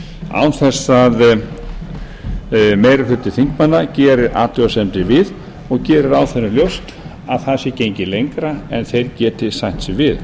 án þess að meiri hluti þingmanna geri athugasemdir við og geri ráðherra ljóst að það sé gengið lengra en þeir geti sætt sig við